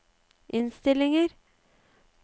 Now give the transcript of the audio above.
innstillinger